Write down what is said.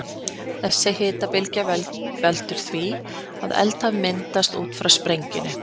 Þessi hitabylgja veldur því að eldhaf myndast út frá sprengingunni.